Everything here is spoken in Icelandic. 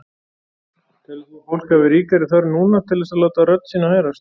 Telur þú að fólk hafi ríkari þörf núna til þess að láta rödd sína heyrast?